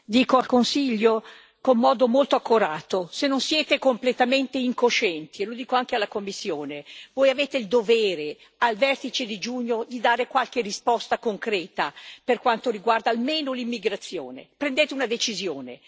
Signora Presidente, onorevoli colleghi, dico al Consiglio, con modo molto accorato se non siete completamente incoscienti e lo dico anche alla Commissione voi avete il dovere, al vertice di giugno, di dare qualche risposta concreta per quanto riguarda almeno l'immigrazione, prendete una decisione.